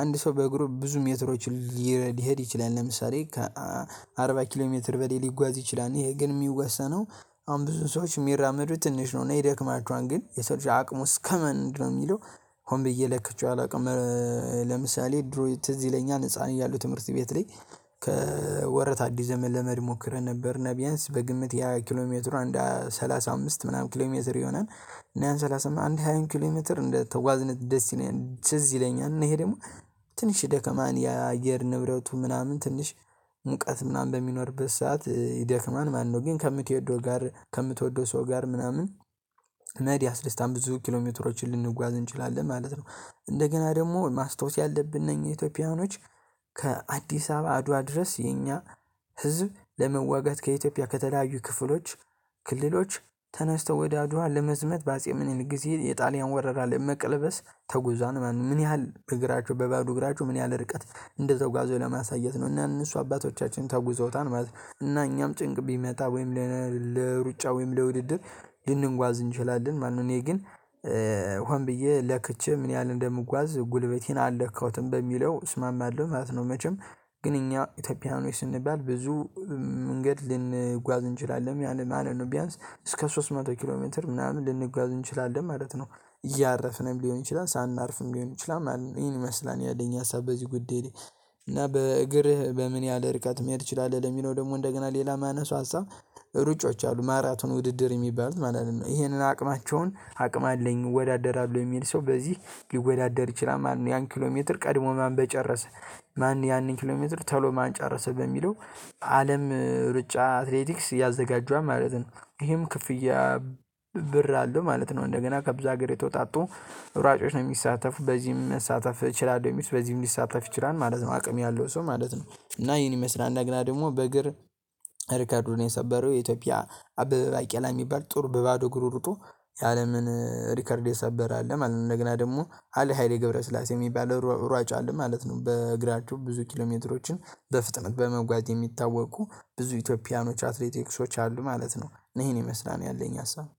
አንድ ሰው በእግሩ ብዙ ሜትሮች ሊሄድ ይችላል ለምሳሌ ከአርባ ኪሎ ሜትር በላይ ሊጓዝ ይችላል ይሄ ግን የሚወሰነው አሁን ብዙ ሰዎች የሚራመዱት ትንሽ ነው እና ይደክማቸዋል ግን የሰው አቅሙ እስከምን ነው የሚለው ሆን ብዬ ለክቼው አላውቅም። ለምሳሌ ድሮ ትዝ ይለኛል ህፃን እያለሁ ትምህርት ቤት ላይ ከወረታ አዲስ ዘመን ለመሄድ ሞክሬ ነበርና ቢያንስ በግምት የሃያ ኪሎ ሜትር አንድ ሰላሳ አምስት ምናምን ኪሎሜትር ይሆናል። እና ያን ሰላሳ አንድ ሃያ ኪሎሜትር እንደ ተጓዝነ ደስ ይለኛል ትዝ ይለኛል እና ይሄ ደግሞ ትንሽ ደከማን የአየር ንብረቱ ምናምን ትንሽ ሙቀት ምናምን በሚኖርበት ሰዓት ይደክማል ማለት ነው። ግን ከምትወደው ጋር ከምትወደው ሰው ጋር ምናምን መሄድ ያስደስታል ብዙ ኪሎሜትሮችን ልንጓዝ እንችላለን ማለት ነው። እንደገና ደግሞ ማስታወስ ያለብን ነው ኢትዮጵያኖች ከአዲስ አበባ አድዋ ድረስ የኛ ህዝብ ለመዋጋት ከኢትዮጵያ ከተለያዩ ክፍሎች ክልሎች ተነስተው ወደ አድዋ ለመዝመት በአጼ ምኒሊክ ጊዜ የጣሊያን ወረራ ለመቀልበስ ተጉዛዋል ማለት ነው። ምን ያህል በእግራቸው በባዶ እግራችው ምን ያህል ርቀት እንደተጓዙ ለማሳየት ነው? እና እነሱ አባቶቻችን ተጉዘውታል ማለት ነው እና እኛም ጭንቅ ቢመጣ ወይም ለሩጫ ወይም ለውድድር ልንጓዝ እንችላለን ማለት ነው። እኔ ግን ሆን ብዬ ለክቼ ምን ያህል እንደምጓዝ ጉልበቴን አልለካሁትም በሚለው እስማማለሁ ማለት ነው። መቼም ግን እኛ ኢትዮጵያኖች ስንባል ብዙ መንገድ ልንጓዝ እንችላለን ያንን ማለት ነው። ቢያንስ እስከ ሶስት መቶ ኪሎ ሜትር ምናምን ልንጓዝ እንችላለን ማለት ነው። እያረፍን ሊሆን ይችላል ሳናርፍም ሊሆን ይችላል ማለት ነው ይሄን ይመስላል ያለኝ ሀሳብ በዚህ ጉዳይ። እና በእግርህ በምን ያህል ርቀት መሄድ ትችላለህ? ለሚለው ደግሞ እንደገና ሌላ ማነሳው ሀሳብ ሩጮች አሉ ማራቶን ውድድር የሚባሉት ማለት ነው ይሄንን አቅማቸውን አቅም አለኝ እወዳደራለሁ የሚል ሰው በዚህ ሊወዳደር ይችላል ማለት ነው። ያን ኪሎ ሜትር ቀድሞ ማን በጨረሰ ማን ያንን ኪሎሜትር ተሎ ማን ጨረሰ በሚለው አለም ሩጫ አትሌቲክስ ያዘጋጇል ማለት ነው። ይሄም ክፍያ ብር አለው ማለት ነው። እንደገና ከብዙ ጋር የተወጣጡ ሯጮች ነው የሚሳተፉ በዚህም መሳተፍ እችላለሁ የሚሉት በዚህም ሊሳተፍ ይችላል ማለት ነው አቅም ያለው ሰው ማለት ነው። እና ይሄን ይመስላል እንዳግና ደግሞ በእግር ሪከርዱን የሰበረው የኢትዮጵያ አበበ ባቄላ የሚባል ጥሩ በባዶ እግሩ ሩጦ ያለምን ሪከርድ የሰበረ አለ ማለት ነው። እንደገና ደግሞ አለ ሃይሌ ገብረስላሴ የሚባለው ሯጭ አለ ማለት ነው። በእግራችሁ ብዙ ኪሎሜትሮችን በፍጥነት በመጓዝ የሚታወቁ ብዙ ኢትዮጵያውያኖች አትሌቲክሶች አሉ ማለት ነው። እኔ ይሄን ይመስላል ያለኝ ሀሳብ